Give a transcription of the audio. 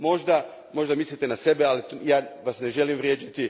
Možda mislite na sebe, ali ja Vas ne želim vrijeđati.